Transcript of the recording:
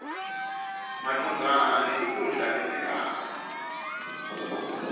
macondzana netikhundla tesigaba